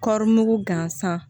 Kɔri mugu gansan